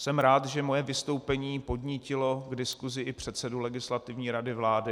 Jsem rád, že moje vystoupení podnítilo k diskusi i předsedu Legislativní rady vlády.